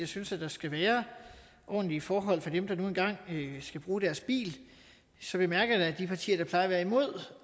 synes der skal være ordentlige forhold for dem der nu engang skal bruge deres bil så bemærker jeg da at de partier der plejer at være imod